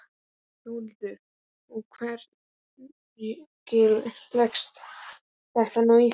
Þórhildur: Og hvernig leggst þetta nú í þig?